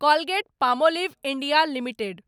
Colgate Palmolive India limited